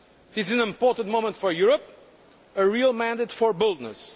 this is an important moment for Europe, a real mandate for boldness.